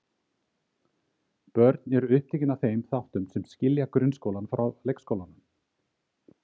Börnin eru upptekin af þeim þáttum sem skilja grunnskólann frá leikskólanum.